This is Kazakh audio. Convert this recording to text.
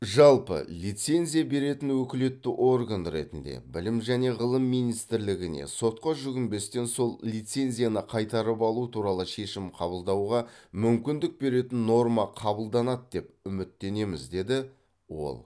жалпы лицензия беретін өкілетті орган ретінде білім және ғылым министрлігіне сотқа жүгінбестен сол лицензияны қайтарып алу туралы шешім қабылдауға мүмкіндік беретін норма қабылданады деп үміттенеміз деді ол